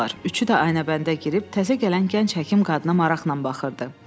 Üçü də Aynəbəndə girib təzə gələn gənc həkim qadına maraqla baxırdı.